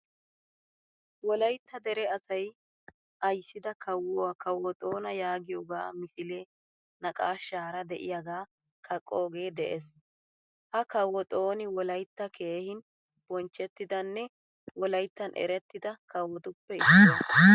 Wolaytta dere asay ayssida kawuaa kawo xona yaagiyoga misilee naaqashshaara deiyaga kaqqoge de'ees. Ha kawo xoni wolaytta keehin bonchchettidanne wolayttan erettida kawottuppe issuwaa.